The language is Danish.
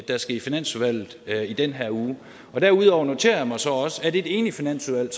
der skal i finansudvalget i den her uge derudover noterer jeg mig så også at et enigt finansudvalg